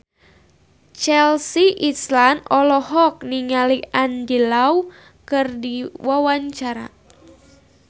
Chelsea Islan olohok ningali Andy Lau keur diwawancara